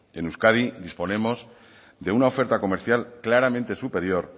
en euskadi disponemos de una oferta comercial claramente superior